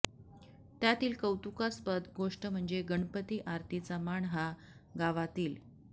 त्यातील कौतुकास्पद गोष्ट म्हणजे गणपती आरतीचा मान हा गावातील